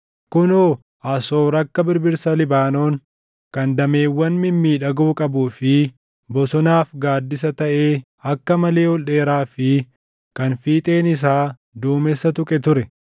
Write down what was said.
Kunoo Asoor akka birbirsa Libaanoon kan dameewwan mimmiidhagoo qabuu fi // bosonaaf gaaddisa taʼee akka malee ol dheeraa fi kan fiixeen isaa duumessa tuqe ture.